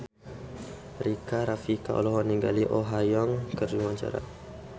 Rika Rafika olohok ningali Oh Ha Young keur diwawancara